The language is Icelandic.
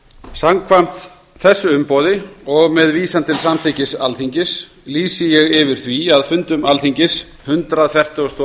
samkvæmt þessu umboði og með vísan til samþykkis alþingis lýsi ég yfir því að fundum alþingis hundrað fertugasta